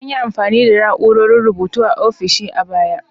An yi amfani da na'urar rubutu a ofisoshin a baya.